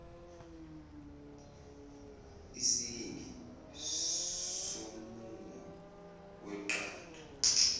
isiyingi somumo weqanda